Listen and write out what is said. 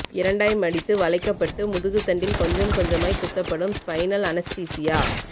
இரண்டாய் மடித்து வளைக்கப்பட்டு முதுகுத்தண்டில் கொஞ்சம் கொஞ்சமாய் குத்தப்படும் ஸ்பைனல் அனெஸ்தீசியா